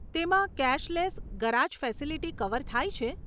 તેમાં cashless garage facility cover થાય છે?